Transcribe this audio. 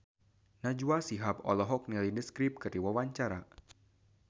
Najwa Shihab olohok ningali The Script keur diwawancara